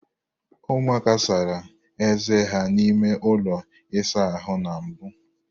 Ụmụaka sara eze ha n'ime ụlọ ịsa ahụ na mbụ.